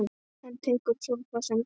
Hann tekur sófa sem dæmi.